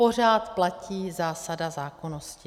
Pořád platí zásada zákonnosti.